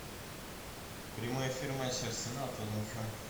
прямой эфир матч арсенал тоттенхэм